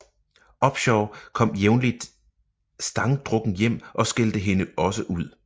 Upshaw kom jævnligt stangdrukken hjem og skældte hende også ud